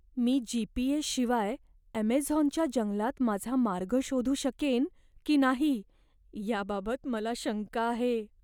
मी G. P. S. शिवाय अमेझॉनच्या जंगलात माझा मार्ग शोधू शकेन की नाही याबाबत मला शंका आहे.